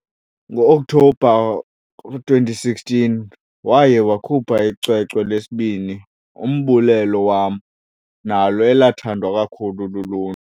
Ngo October 2016, waye wakhupha icwecwe lesibini"Umbulelo wam" nalo elathandwa kakhulu lulu.